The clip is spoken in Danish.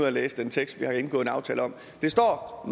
at læse den tekst vi har indgået en aftale om det står